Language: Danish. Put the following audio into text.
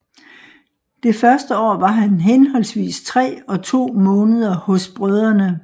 Det første år var han henholdvis tre og to måneder hos Brdr